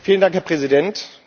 Vielen Dank, Herr Präsident!